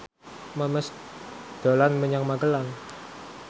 Memes dolan menyang Magelang